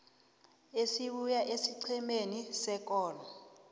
esibuya esiqhemeni sekolo